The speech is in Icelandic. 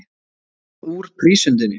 Leyst hann úr prísundinni.